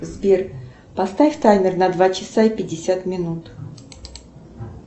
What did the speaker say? сбер поставь таймер на два часа пятьдесят минут